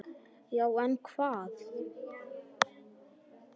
Já en hvað?